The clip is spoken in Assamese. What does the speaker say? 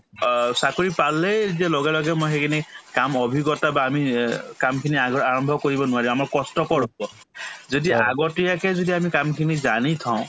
অ, চাকৰি পালেই যে লগে লগে মই সেইখিনি কাম অভিজ্ঞতা বা আমি অ কামখিনি আগৰ আৰম্ভ কৰিব নোৱাৰি আমাৰ কষ্টকৰ হব যদি আগতীয়াকে যদি আমি কামখিনি জানি থও